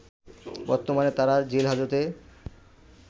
বর্তমানে তারা জেল হাজতে